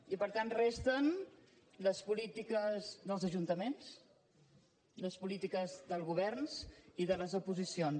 i per tant resten les polítiques dels ajuntaments les polítiques dels governs i de les oposicions